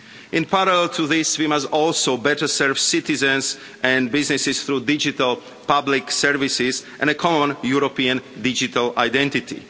In parallel to this, we must also better serve citizens and businesses through digital public services and common European digital identity.